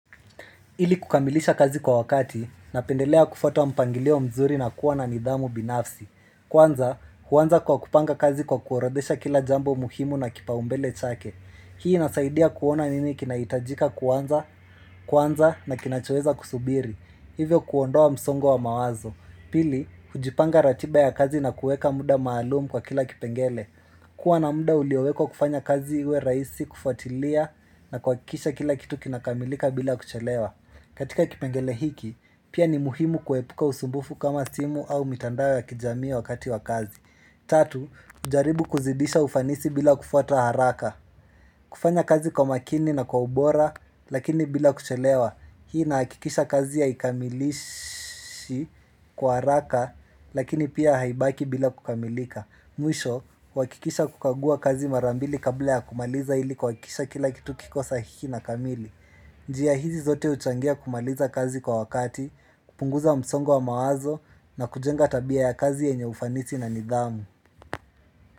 Ili kukamilisha kazi kwa wakati na pendelea kufuata mpangilio mzuri na kuwa na nidhamu binafsi. Kwanza, huanza kwa kupanga kazi kwa kuorodesha kila jambo muhimu na kipaumbele chake. Hii inasaidia kuona nini kinahitajika kuanza kwanza na kinachoweza kusubiri. Hivyo kuondoa msongo wa mawazo. Pili, hujipanga ratiba ya kazi na kueka muda maalumu kwa kila kipengele. Kuwa na muda uliowekwa kufanya kazi iwe rahisi kufuatilia na kuhakikisha kila kitu kinakamilika bila kuchelewa. Katika kipengele hiki, pia ni muhimu kuepuka usumbufu kama simu au mitandao ya kijamii wakati wa kazi. Tatu, hujaribu kuzidisha ufanisi bila kufuata haraka. Kufanya kazi kwa makini na kwa ubora, lakini bila kuchelewa. Hii ina hakikisha kazi ya haikamilishi kwa haraka, lakini pia haibaki bila kukamilika. Mwisho, uhakikisha kukagua kazi mara mbili kabla ya kumaliza ili kuhakikisha kila kitu kiko sahiki na kamili. Njia hizi zote huchangia kumaliza kazi kwa wakati, kupunguza msongo wa mawazo na kujenga tabia ya kazi yenye ufanisi na nidhamu.